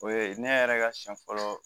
O ye ne yɛrɛ ka siɲɛ fɔlɔ